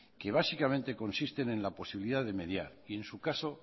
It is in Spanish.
que básicamente consisten en la posibilidad de mediar y en su caso